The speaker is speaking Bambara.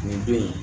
Nin don in